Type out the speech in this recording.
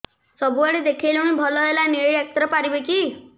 ସବୁଆଡେ ଦେଖେଇଲୁ ଭଲ ହେଲାନି ଏଇ ଡ଼ାକ୍ତର ପାରିବେ କି